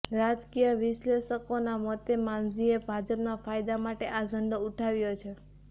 રાજકીય વિશ્લેષકોના મતે માંઝીએ ભાજપના ફાયદા માટે આ ઝંડો ઉઠાવ્યો છે